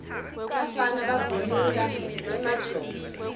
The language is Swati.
bafana bavunula emajobo